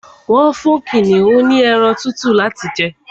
Wọ́n fún kìnìún ní ẹran tútù láti jẹ